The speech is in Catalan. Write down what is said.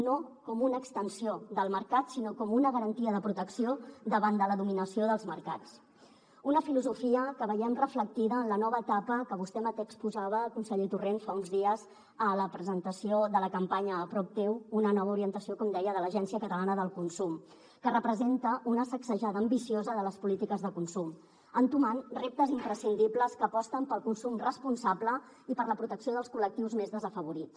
no com una extensió del mercat sinó com una garantia de protecció davant de la dominació dels mercats una filosofia que veiem reflectida en la nova etapa que vostè mateix exposava conseller torrent fa uns dies a la presentació de la campanya a prop teu una nova orientació com deia de l’agència catalana del consum que representa una sacsejada ambiciosa de les polítiques de consum entomant reptes imprescindibles que aposten pel consum responsable i per la protecció dels col·lectius més desafavorits